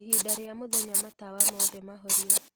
ĩhĩnda rĩa mũthenya matawa mothe mahorio